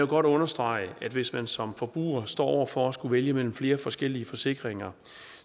godt understrege at hvis man som forbruger står over for at skulle vælge mellem flere forskellige forsikringer